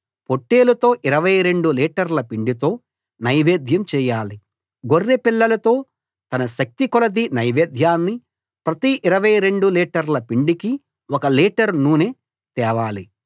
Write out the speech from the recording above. పొట్టేలుతో 22 లీటర్ల పిండితో నైవేద్యం చేయాలి గొర్రెపిల్లలతో తన శక్తికొలది నైవేద్యాన్ని ప్రతి 22 లీటర్ల పిండికి ఒక లీటర్ నూనె తేవాలి